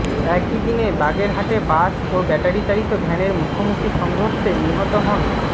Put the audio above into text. একই দিন বাগেরহাটে বাস ও ব্যাটারিচালিত ভ্যানের মুখোমুখি সংঘর্ষে নিহত হন